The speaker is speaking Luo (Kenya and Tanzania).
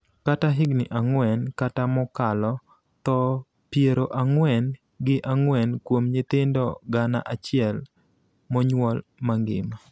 kata higni ang�wen kata mokalo (tho piero ang'wen gi ang'wen kuom nyithindo gana achiel monyuol mangima)